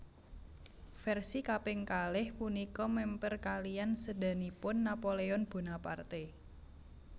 Versi kaping kalih punika mèmper kaliyan sédanipun Napoleon Bonaparte